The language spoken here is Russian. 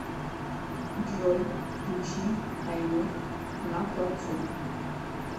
джой включи айнур на плацу